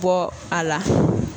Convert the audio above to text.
Bɔ a la